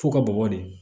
F'u ka bɔgɔ de